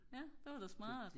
ja det var da smart